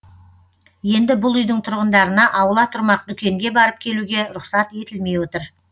енді бұл үйдің тұрғындарына аула тұрмақ дүкенге барып келуге рұқсат етілмей отыр